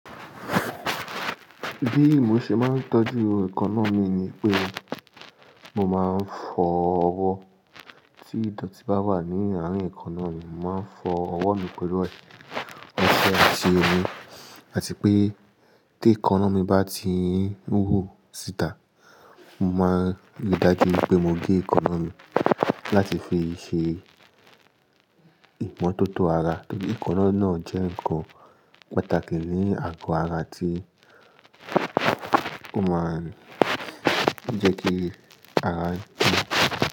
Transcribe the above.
Bí mo ṣe máa ń tọ́jú èékánná mi ni pé mo máa ń fọ ọwọ́ tí ìdọ̀tí bá wà ní àárín èékánná mi, mo máa ń fọ ọwọ́ mi pẹ̀lú ẹsẹ̀ àti omi. Àti pé tí èékánná mi bá ti wúwo sí ìta, mo máa ríi dájú pé mo gé èékánná mi láti fi ṣe ìmọ́tótó ara torí èékánná náà jẹ́ nǹkan pàtàkì ní àgọ́ ara tí ó máa ń jẹ́ kí ara jìn.